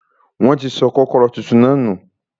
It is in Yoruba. Wọ́n ti sọ kọ́kọ́rọ́ tuntun náà nù.